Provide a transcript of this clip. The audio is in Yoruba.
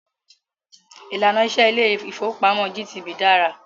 Ìlànà iṣẹ ilé ìfọwọ́pamo GTB dára.